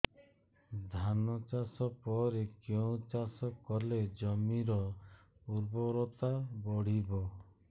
ଧାନ ଚାଷ ପରେ କେଉଁ ଚାଷ କଲେ ଜମିର ଉର୍ବରତା ବଢିବ